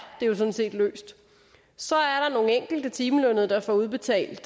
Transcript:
det jo sådan set løst så er der nogle enkelte timelønnede der får udbetalt